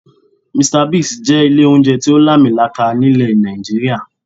"Mr Bigs" jẹ́ ilé oúnjẹ tí ó làmì laaka ní ilẹ̀ Nàìjíríà